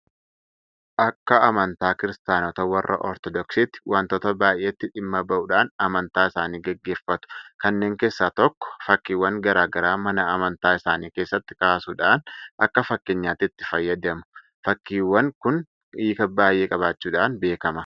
Akka amntaa kiristaanota warra Ortodoksiitti waantota baay'eetti dhimma bahuudhaan amantaa isaanii gaggeeffatu. Kanneen keessaa tokko Fakkiiwwan garaa garaa mana amantaa isaanii keessatti kaasuudhaan akka fakkeenyaatti itti fayyadamu. Fakkiiwwan kun hiika baay'ee qabaachuudhaan beekama.